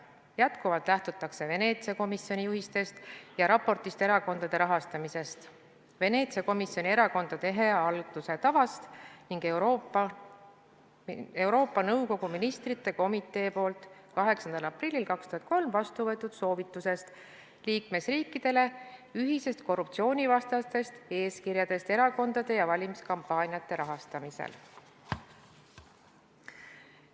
Jätkuvalt lähtutakse Veneetsia komisjoni juhistest ja raportist erakondade rahastamise kohta, Veneetsia komisjoni erakondade hea halduse tavast ning Euroopa Nõukogu Ministrite Komitee poolt 8. aprillil 2003 vastu võetud soovitusest liikmesriikidele ühiste korruptsioonivastaste eeskirjade kohta erakondade ja valimiskampaaniate rahastamisel.